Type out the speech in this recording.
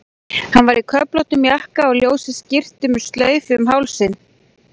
Hann var í köflóttum jakka og ljósri skyrtu með slaufu um hálsinn.